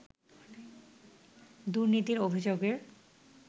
দুর্নীতির অভিযোগের